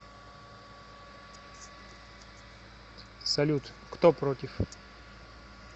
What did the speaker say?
салют кто против